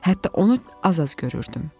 Hətta onu az-az görürdüm.